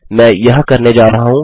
मैं यह करने जा रहा हूँ